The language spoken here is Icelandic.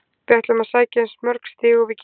Við ætlum að sækja eins mörg stig og við getum.